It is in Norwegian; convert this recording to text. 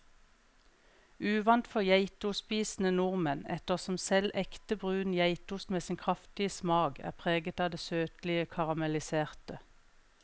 Uvant for geitostspisende nordmenn, ettersom selv ekte brun geitost med sin kraftige smak er preget av det søtlige karamelliserte.